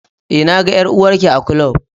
e, na ga ƴar'uwar Ki a ƙlub.